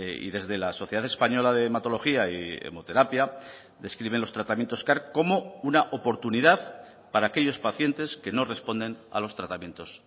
y desde la sociedad española de hematología y hemoterapia describen los tratamientos car como una oportunidad para aquellos pacientes que no responden a los tratamientos